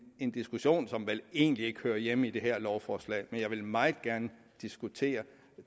en diskussion som vel egentlig ikke hører hjemme i det her lovforslag jeg vil meget gerne diskutere